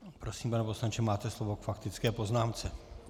Prosím, pane poslanče, máte slovo k faktické poznámce.